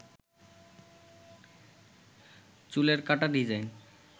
চুলের কাঁটা ডিজাইন